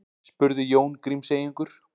spurði Jón Grímseyingur.